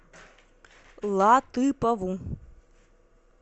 латыпову